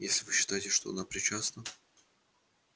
если вы считаете что она причастна